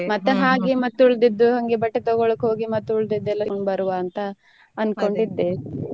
ಮತ್ತೆ ಹಾಗೆ ಮತ್ತೆ ಉಳ್ದಿದ್ದು ನಮ್ಗೆ ಬಟ್ಟೆ ತಗೋಳಕೆ ಹೋಗಿ ಮತ್ತೆ ಉಳ್ದಿದ್ದು ಎಲ್ಲಾ ತಗೊಂಡ್ ಬರುವ ಅಂತ ಅನ್ಕೊಂಡ್ ಇದ್ದೆ .